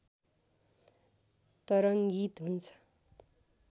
तरङ्गित हुन्छ